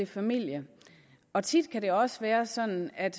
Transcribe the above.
familie og tit kan det også være sådan at